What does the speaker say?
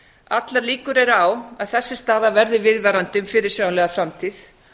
allar líkur eru á að þessi staða verði viðvarandi fyrirsjáanlega framtíð